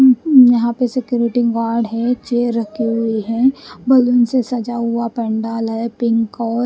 यहां पर security guard है चेयर रखी हुई है बैलून से सजा हुआ पंडाल है पिक और--